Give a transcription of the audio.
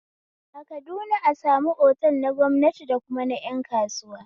A kaduna a samun otal na gwamnati dakuma na ƴan kasuwa